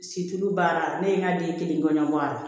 baara ne ye n ka den kelen ŋɔnbɔ a la